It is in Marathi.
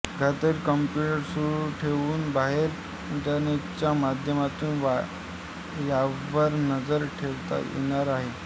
घरातील कम्प्युटर सुरू ठेवून बाहेर इंटरनेटच्या माध्यमातून यावर नजर ठेवता येणार आहे